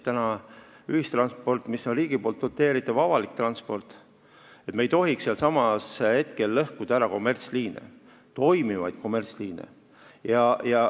On ühistransport ja riigi doteeritav avalik transport, kuid me ei tohiks lõhkuda ära toimivaid kommertsliine.